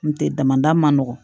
N tɛ damada man nɔgɔn